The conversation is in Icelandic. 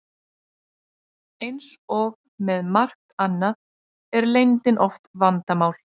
Eins og með margt annað er leyndin oft vandamál.